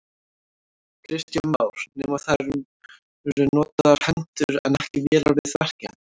Kristján Már: Nema það eru notaðar hendur en ekki vélar við verkin?